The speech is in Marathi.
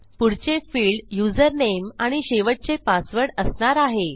पुढचे फिल्ड यूझर नामे आणि शेवटचे पासवर्ड असणार आहे